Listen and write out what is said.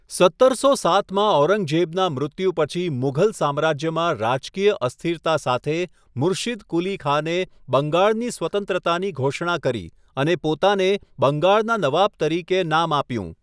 સત્તરસો સાતમાં ઔરંગઝેબના મૃત્યુ પછી મુઘલ સામ્રાજ્યમાં રાજકીય અસ્થિરતા સાથે, મુર્શીદ કુલી ખાને બંગાળની સ્વતંત્રતાની ઘોષણા કરી અને પોતાને બંગાળના નવાબ તરીકે નામ આપ્યું.